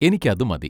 എനിക്കതുമതി.